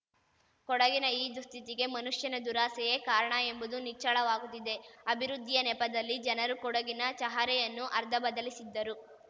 ಕೊಡಗಿನ ಈ ದುಸ್ಥಿತಿಗೆ ಮನುಷ್ಯನ ದುರಾಸೆಯೇ ಕಾರಣ ಎಂಬುದು ನಿಚ್ಚಳವಾಗುತ್ತಿದೆ ಅಭಿವೃದ್ಧಿಯ ನೆಪದಲ್ಲಿ ಜನರು ಕೊಡಗಿನ ಚಹರೆಯನ್ನು ಅರ್ಧ ಬದಲಿಸಿದ್ದರು